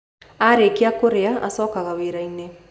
Arĩkia kũrĩa, acokaga wĩra-inĩ.